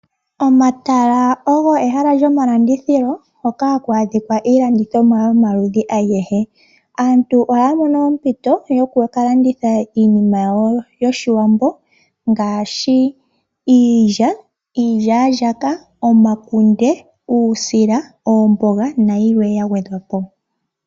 Omatala ogo ehala lyomalandithilo hoka haku adhika iilandithomwa yomaludhi agehe. Aantu ohaya mono ompito yoku ka landitha iinima yawo yoshiwambo ngaashi iilya, iilyalyaka, omakunde, uusila, omboga nayilwe ya gwedhwa po.